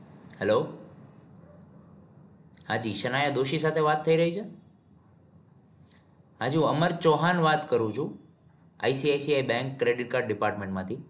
Hello હાજી સનાયા દોશી સાથે વાત થઇ રહી છે? હાજી હું અમર ચોંહાન વાત કરું છું. ICICI bank credit card department માંથી.